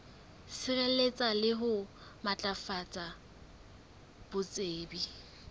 sireletsa le ho matlafatsa botsebi